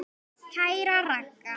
Kæra Ragga.